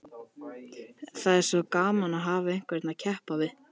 Það er svo gaman að hafa einhvern að keppa við.